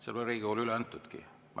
Seda ei ole Riigikogule üle antudki.